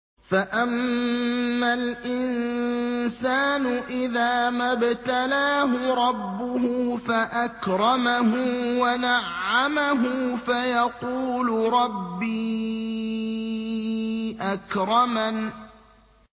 فَأَمَّا الْإِنسَانُ إِذَا مَا ابْتَلَاهُ رَبُّهُ فَأَكْرَمَهُ وَنَعَّمَهُ فَيَقُولُ رَبِّي أَكْرَمَنِ